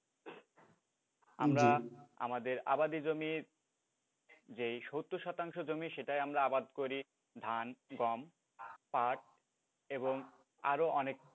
আমরা আমাদের আবাদী জমির যেই সত্তর শতাংশ জমি সেটায় আমরা আবাদ করি ধান, গম, পাট এবং আরও অনেক,